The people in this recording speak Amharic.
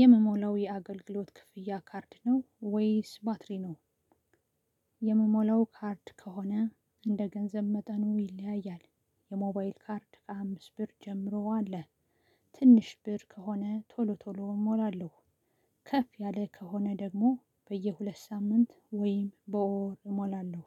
የምሞላ የአገልግሎት ክፍያ ካርድ ነው ወይስ ባትሪ ነው። የምሞላው ካርድ ከሆነ እንደገንዘብ መጠኑ ይለያያል። የሞባይል ካርድ ከሃያ አምስት ብር ጀምሮ አለ። ትንሽ ብር ከሆነ ቶሎ ቶሎ እሞላለሁ። ከፍ ያለ ከሆነ ደግሞ በየሁለት ሳምንት ወይም በወር እሞላለሁ።